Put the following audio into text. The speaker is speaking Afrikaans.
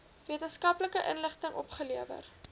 wetenskaplike inligting opgelewer